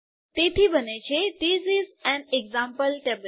તેથી બને શું છે હવે this is an example table